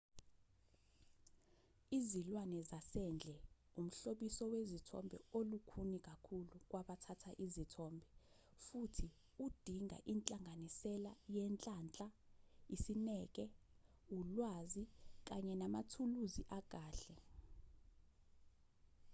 izilwane zasendle umhlobiso wezithombe olukhuni kakhulu kwabathatha izithombe futhi udinga inhlanganisela yenhlanhla isineke ulwazi kanye namathuluzi akahle